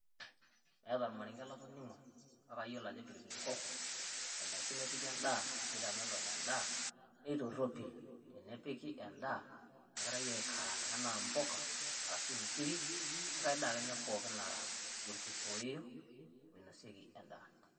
Eata ormarenge latoning'o paa kaiyelo ajo pilipili hoho enosi nipiik endaa neitameelon endaa neitoropil tenepiki endaa nejirai aikarang'a tena embukaa arashu enkirii o nkai endaa ninye pookin nara olkitooyo olnoisooki endaa.